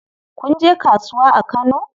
Kun je kasuwa a Kano?